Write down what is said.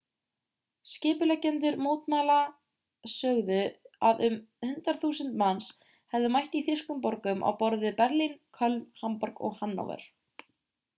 skipuleggjendur mótmælanna sögðu að um 100.000 manns hefðu mætt í þýskum borgum á borð við berlín köln hamborg og hannover